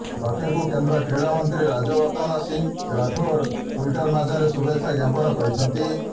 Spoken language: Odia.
ଲକ୍ଷ୍ୟଙ୍କୁ କେନ୍ଦ୍ର କ୍ରୀଡ଼ାମନ୍ତ୍ରୀ ରାଜ୍ୟବର୍ଦ୍ଧନ ସିଂହ ରାଠୋର ଟ୍ୱିଟର୍ ମାଧ୍ୟମରେ ଶୁଭେଚ୍ଛା ଜ୍ଞାପନ କରିଛନ୍ତି